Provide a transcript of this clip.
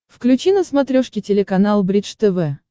включи на смотрешке телеканал бридж тв